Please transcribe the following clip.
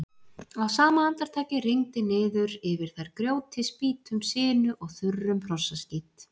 Á sama andartaki rigndi niður yfir þær grjóti, spýtum, sinu og þurrum hrossaskít.